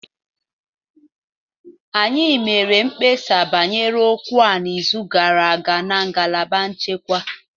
Anyị mere mkpesa banyere okwu a n'izu gara aga na ngalaba nchekwa